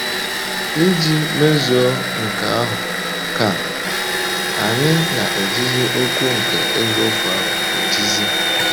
Iji mezuo nke ahụ, ka anyị “ na - ejizi okwu nke eziokwu ahụ ejizi. ”